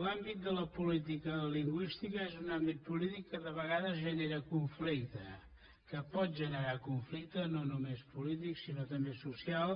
l’àmbit de la política lingüística és un àmbit polític que de vegades genera conflicte que pot generar conflicte no només polític sinó també social